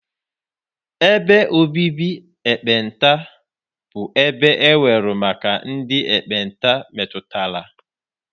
Ebe obibi ekpenta bụ ebe e wuru maka ndị ekpenta metụtara.